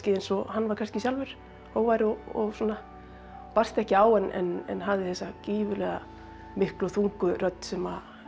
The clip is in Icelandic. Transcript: eins og hann var sjálfur hógvær og svona barst ekki á en hafði þessa gífurlega miklu og þungu rödd sem